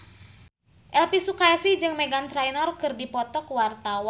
Elvi Sukaesih jeung Meghan Trainor keur dipoto ku wartawan